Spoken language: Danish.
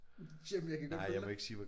Jamen jeg kan godt følge dig